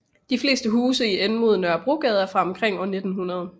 De fleste huse i enden mod Nørrebrogade er fra omkring år 1900